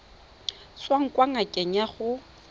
tswang kwa ngakeng ya gago